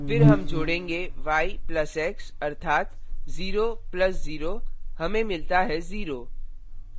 फिर हम जोडेंगे y plus x अर्थात 0 plus 0 हमें मिलता है 0